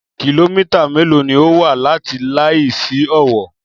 Kìlómítà mélòó ni ó wà láti Layi sí Owó?